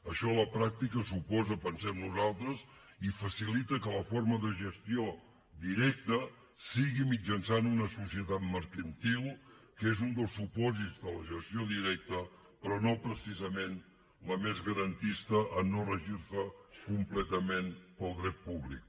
això a la pràctica suposa ho pensem nosaltres i facilita que la forma de gestió directa sigui mitjançant una societat mercantil que és un dels supòsits de la gestió directa però no precisament la més garantista en no regir se completament pel dret públic